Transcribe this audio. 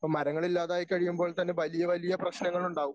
അപ്പോ മരങ്ങൾ ഇല്ലാതായി കഴിയുമ്പോൾ തന്നെ വലിയ വലിയ പ്രശ്നങ്ങൾ ഉണ്ടാകും.